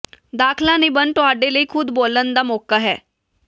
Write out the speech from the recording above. ਦਾਖਲਾ ਨਿਬੰਧ ਤੁਹਾਡੇ ਲਈ ਖੁਦ ਬੋਲਣ ਦਾ ਮੌਕਾ ਹੈ